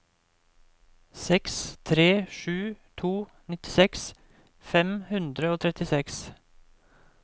seks tre sju to nittiseks fem hundre og trettiseks